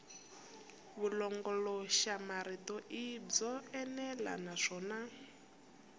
vulongoloxamarito i byo enela naswona